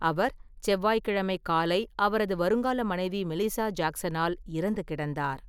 அவர் செவ்வாய்க்கிழமை காலை அவரது வருங்கால மனைவி மெலிசா ஜாக்சனால் இறந்து கிடந்தார்.